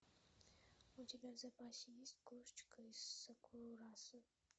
у тебя в запасе есть кошечка из сакурасо